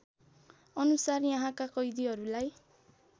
अनुसार यहाँका कैदीहरूलाई